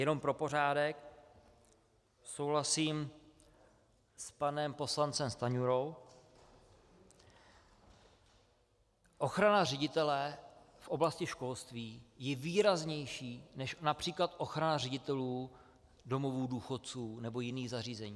Jenom pro pořádek, souhlasím s panem poslancem Stanjurou, ochrana ředitele v oblasti školství je výraznější než například ochrana ředitelů domovů důchodců nebo jiných zařízení.